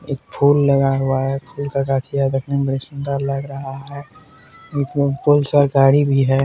एक फूल लगा हुआ है फूल का गाछी है देखने में बड़ी सुंदर लग रहा है गाड़ी भी है।